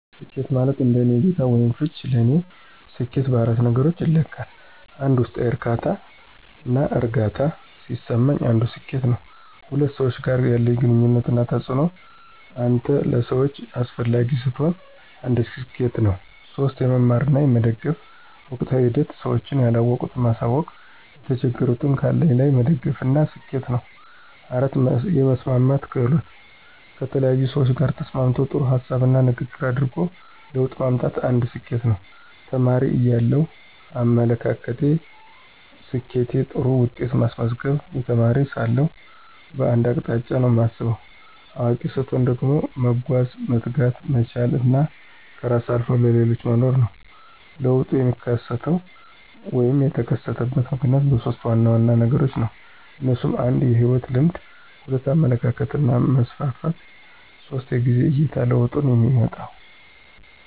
ስኬት ማለት እንደኔ እይታ /ፍች ለኔ ሰኬት በአራት ነገሮች ይለካል 1, ውስጣዊ ዕርካታና እርግአታ ሲሰማኝ አንዱ ስኬት ነው። 2, ከሰዎች ጋር ያለኝ ግንኙነት እና ተጽእኖ አንተ ለሰዎች አሰፈላጊ ስትሆን አንድ ሰኬት ነው። 3, የመማር እና የመደገፍ ወቅታዊ ሂደት ስዎች ያለወቁት ማሳውቅ የተቸገሩትን ካለኝ ላይ መደገፍ አንድ ስኬት ነው 4, የመስማማት ክህሎት: ከተለያዪ ሰዎች ጋር ተስማምቶ ጥሩ ሀሳብና ንግግር አድርጎ ለውጥ ማምጣት አንድ ስኬት ነው። ተማሪ እያለው አመለካከቴ፦ ስኬት ጥሩ ውጤት ማስመዝገብ, የተማሪ ሳለሁ በአንድ አቅጣጫ ነውና ማስብ። አዋቂ ሰትሆን ደግሞ መጓዝ፣ መትጋት፣ መቻል እና ከራስ አልፎም ለሌሎች መኖር ነው። ለውጡ የሚከሰተው /የተከሰተበት ምክንያት በሦስት ዋና ዋና ነገሮች ነው። እነሱም 1, የህይወት ልምድ 2, የአመለካከት መስፍፍት 3, የጊዜ አይታ ለውጡንየሚመጣው።